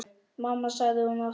Mamma, sagði hún aftur.